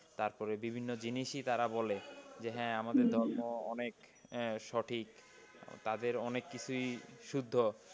তারপরে বিভিন্ন জিনিসই তারা বলে যে হ্যাঁ আমাদের ধর্ম অনেক হ্যাঁ সঠিক, তাদের অনেক কিছুই শুদ্ধ।